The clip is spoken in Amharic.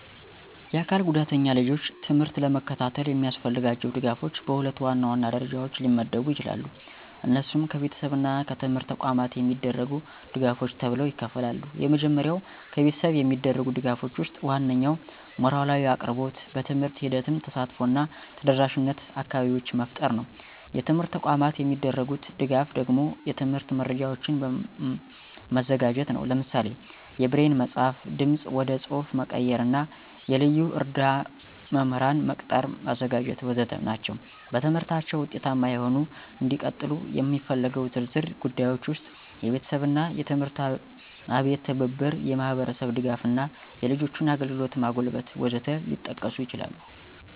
የአካል ጉዳተኛ ልጆች ትምህርት ለመከታተል የሚያስፈልጋቸው ድጋፎች በሁለት ዋናዋና ደረጃዎች ሊመደቡ ይችላሉ። እነሱም ከቤተሰብ እና ከትምህርት ተቋማት የሚደረጉ ድጋፎች ተብለው ይከፍላሉ። የመጀመሪያው ከቤተሰብ የሚደረጉ ድጋፎች ወስጥ ዋናኛው ሞራላዊ አቅርቦት፣ በትምህርት ሂደትም ተሳትፎ እና ተደረሻነት አካባቢዎች መፍጠር ነው። የትምርት ተቋማት የሚደርጉት ደጋፍ ደግሞ የትምህርት መረጃዎችን መዘጋጀት ነው። ለምሳሌ የብሬን መፅሐፍ፣ ድምፅ ወደ ፅሐፍ መቀየር እና የልዩ እርዳ መምህራን መቅጠር ማዘጋጀት.... ወዘተ ናቸው። በትምህርታችው ውጤታማ ሆነው እንዲቀጥሉ የሚስፈልገው ዝርዝር ጉዳዮች ውስጥ፦ የቤተሰብና የትምህርት አቤት ትብብር፣ የማህብርስብ ድጋፍ እና የልጆችን አግልግሎት ማጎልበት..... ወዘት ሊጠቀሱ ይችላሉ።